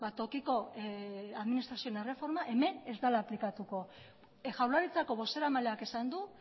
tokiko administrazioen erreforma hemen ez dela aplikatu jaurlaritzako bozeramaleak esan du